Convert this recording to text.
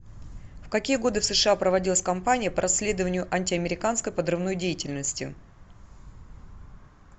в какие годы в сша проводилась кампания по расследованию антиамериканской подрывной деятельности